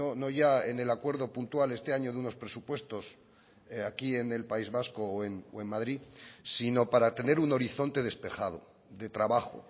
no ya en el acuerdo puntual este año de unos presupuestos aquí en el país vasco o en madrid sino para tener un horizonte despejado de trabajo